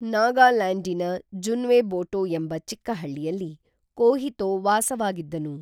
ನಾಗಾಲ್ಯಾಂಡಿನ ಜುನ್ವೆಬೋಟೋ ಎಂಬ ಚಿಕ್ಕ ಹಳ್ಳಿಯಲ್ಲಿ ಕೋಹಿತೋ ವಾಸವಾಗಿದ್ದನು